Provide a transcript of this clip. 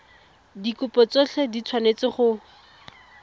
dikopo tsotlhe di tshwanetse go